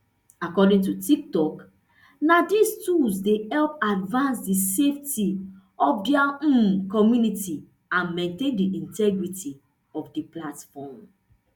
according to tiktok na dis tools dey help advance di safety of dia um community and maintain di integrity of di platform